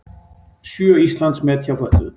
Sjö Íslandsmet hjá fötluðum